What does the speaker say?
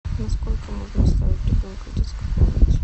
на сколько можно оставить ребенка в детской комнате